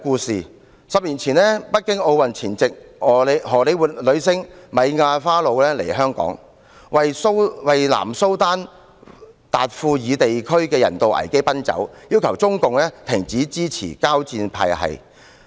十年前，在北京奧運前夕，荷李活女星米亞花露來港為南蘇丹達富爾地區的人道危機奔走，要求中共停止支持交戰派系。